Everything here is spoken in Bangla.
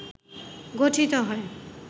গঠিত হয়